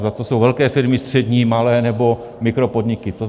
Zda jsou to velké firmy, střední, malé nebo mikropodniky.